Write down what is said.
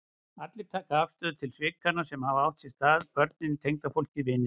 Allir taka afstöðu til svikanna sem hafa átt sér stað, börnin, tengdafólkið, vinirnir.